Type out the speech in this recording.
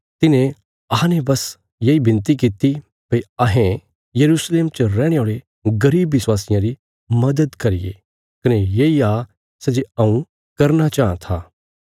तिन्हें अहांने बस येई विनती कित्ती भई अहें यरूशलेम च रैहणे औल़े गरीब विश्वासियां री मदद करिये कने येई आ सै जे हऊँ करना चाँह था